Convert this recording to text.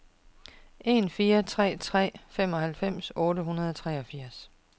en fire tre tre femoghalvfems otte hundrede og treogfirs